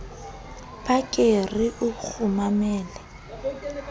ba ke re o nkgumamele